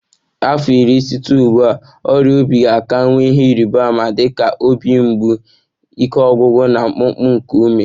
Afọ iri site ugbu a, ọrịa obi ga ka-enwe ihe ịrịba ama dị ka obi mgbu, ike ọgwụgwụ na mkpụmkpụ nke ume